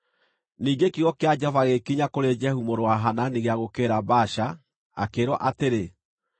Ningĩ kiugo kĩa Jehova gĩgĩkinya kũrĩ Jehu mũrũ wa Hanani gĩa gũũkĩrĩra Baasha, akĩĩrwo atĩrĩ,